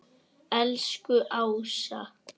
Elsku Ása.